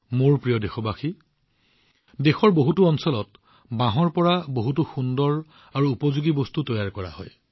মোৰ মৰমৰ দেশবাসীসকল দেশৰ বহুতো অঞ্চলত বাঁহৰ পৰা বহুতো সুন্দৰ আৰু উপযোগী বস্তু তৈয়াৰ কৰা হয়